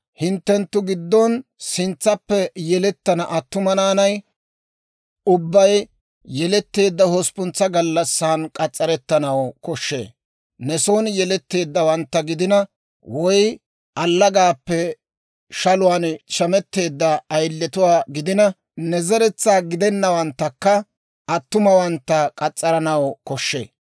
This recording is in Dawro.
Hinttenttu giddon sintsappe yelettana attuma naanay ubbay yeletteedda hosppuntsa gallassan k'as's'arettanaw koshshee. Ne soon yeletteeddawantta gidina, woy allagaappe shaluwaan shametteedda ayiletuwaa gidina, ne zeretsaa gidenawanttakka attumawantta k'as's'aranaw koshshee.